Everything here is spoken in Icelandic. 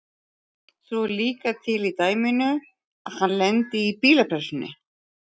Svo er líka til í dæminu að hann lendi í bílapressunni.